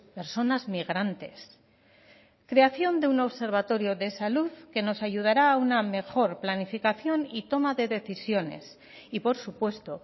personas migrantes creación de un observatorio de salud que nos ayudará a una mejor planificación y toma de decisiones y por supuesto